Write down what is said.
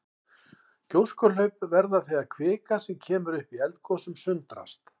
Gjóskuhlaup verða þegar kvika sem kemur upp í eldgosum sundrast.